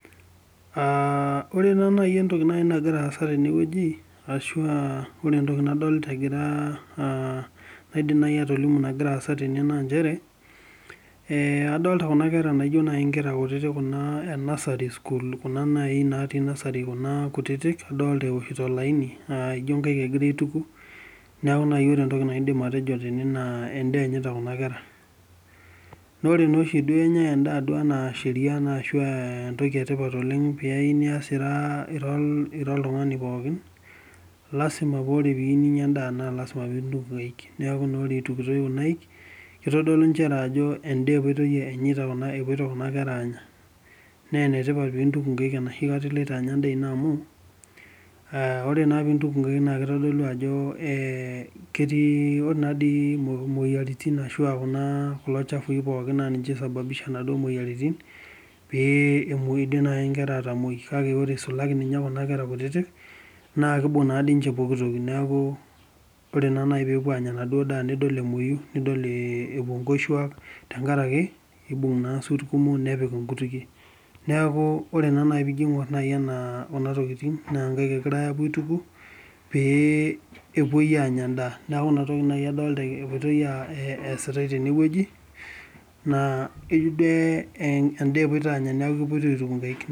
Aa ore nanu nai entoki nai nagira aasa tene wueji ashu aa ore entoki nadolta egira aa aidim nai atolimu nagira aasa tene naa nchere, ee adolta kuna kera naijo nai inkera kutitik kuna e nasari school kuna nai naatii nasari kuna kutitik, adolta ewoshito olaini ijo inkaek egira aituku. Neeku ore nai entoki naidim atejo tene naa endaa enyita kuna kera, naa ore naa oshi duo enyai endaa duo enaa sheria naa ashu ee entoki e tipat oleng' pee eyiu nias ira ira oltung'ani pookin, lazima paa ore piiyiu ninya endaa naa lazima pintuku inkaek. Neeku naa ore itukitoi kuna aik itodolu inchere ajo endaa epuitoi enyita kuna epuito kuna kera aanya nee ene tipat pintuku nkaek enoshi kata iloito anya endaa ino amu aa ore naa pintuku inkaek naake itodolu ajo ee ketii ore naa dii imoyiaritin ashu aa kuna kulo chafui pookin naa ninche loisababisha inaduo moyiaritin pee iidim nai inkera atamueyu, kake ore isulaki ninye kuna kera kutitik naake ibung' naa dii inchepooki toi. Neeku ore naa nai peepuo aanya enaduo daa nidol emueyu, nidol ee epuo nkoshuak tenkaraki iibung' naa isuut kumok nepik inkutukie. Neeku ore naa nai piijo iing'or nai ena kuna tokitin naa inkaek egirai aapuo aituku pee epuoi aanya endaa. Neeku ina toki nai adolta epuitoi aa ee eesitai tene wueji naa ijo duo e endaa epuito aanya neeku epuitoi aituku inkaek.